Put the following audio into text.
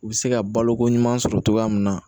U bɛ se ka baloko ɲuman sɔrɔ cogoya min na